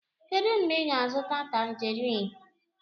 Kedu mgbe ị ga-azụta Tanjerin?